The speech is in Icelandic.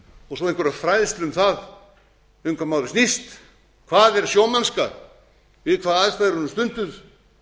og svo einhverja fræðslu um það um hvað málið snýst hvað er sjómennska við hvaða aðstæður er hún stunduð